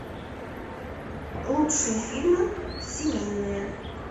лучшие фильмы семейные